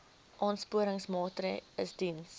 aansporingsmaatre ls diens